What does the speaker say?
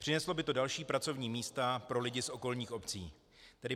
Přineslo by to další pracovní místa pro lidi z okolních obcí.